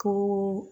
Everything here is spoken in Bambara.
Ko